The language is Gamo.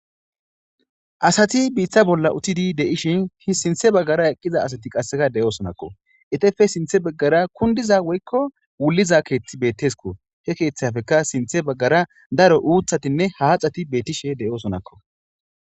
Asati biitta bolla uttidi de7ishin hi sintha baggara eqida asati qassika de7oosonakko. Etappe sinthebaggara kunddiza woykko wulliza keethi beetteskko. He keethapekka sinthebaggara daro uuthatinne haaxati beettishe de7oosonakko.